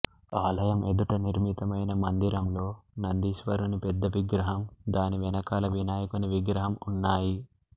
ఆలయం ఎదుట నిర్మితమైన మందిరంలో నందీశ్వరుని పెద్ద విగ్రహం దాని వెనుకాల వినాయకుని విగ్రహం ఉన్నాయి